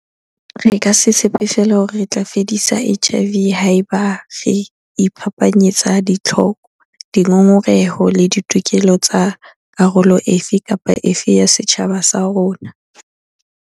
Re ka se tshepe feela hore re tla fedisa HIV haeba re iphapanyetsa ditlhoko, dingongoreho le ditokelo tsa karolo e fe kapa e fe ya setjhaba sa rona.